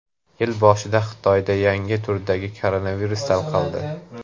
Yil boshida Xitoyda yangi turdagi koronavirus tarqaldi.